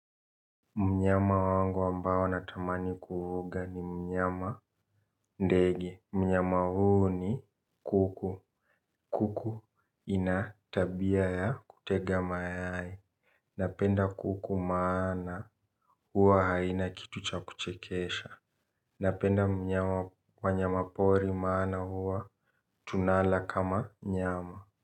Mnyama wangu ambao natamani kuhuga ni mnyama ndege, mnyama huu ni kuku, kuku, ina tabia ya kutega mayai, napenda kuku maana, huwa haina kitu cha kuchekesha, napenda mnyama wanyamapori maana huwa, tunala kama, nyama.